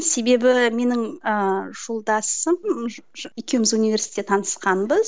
себебі менің ыыы жолдасым екеуміз университетте танысқанбыз